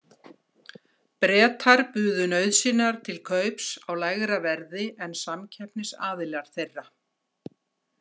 Bretar buðu nauðsynjar til kaups á lægra verði en samkeppnisaðilar þeirra.